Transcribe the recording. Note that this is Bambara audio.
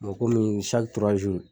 Mɔ komi